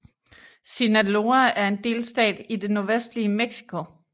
Sinaloa er en delstat i det nordvestlige Mexico